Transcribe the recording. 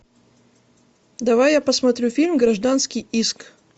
давай я посмотрю фильм гражданский иск